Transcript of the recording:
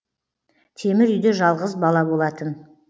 темір үйде жалғыз бала болатын